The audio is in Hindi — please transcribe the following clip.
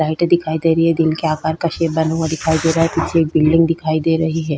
लाइटें दिखाई दे रही है दिल के आकार का शेप बना हुआ दिखाई दे रहा है पीछे एक बिल्डिंग दिखाई दे रही है।